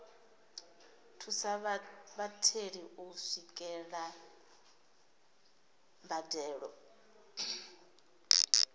thusa vhatheli u swikelela mbadelo